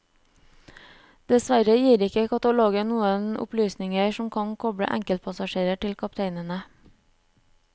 Dessverre gir ikke katalogen noen opplysninger som kan koble enkeltpassasjerer til kapteinene.